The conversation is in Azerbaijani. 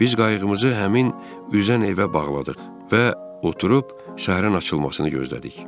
Biz qayığımızı həmin üzən evə bağladıq və oturub səhərin açılmasını gözlədik.